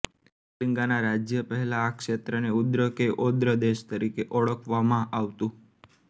કલિંગાના રાજ્ય પહેલા આ ક્ષેત્રને ઉદ્ર કે ઑદ્ર દેશ તરીકે ઓળખવામાં આવતું